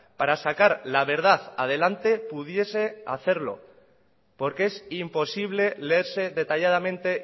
para sacar la verdad adelante pudiese hacerlo porque es imposible leerse detalladamente